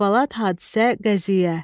Əhvalat, hadisə, qəziyyə.